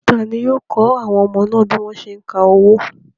Ta ni yóò kọ́ àwọn ọmọ náà bí wọ́n ṣé ń ka owó?